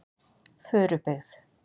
Furubyggð